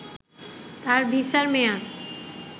তার ভিসার মেয়াদ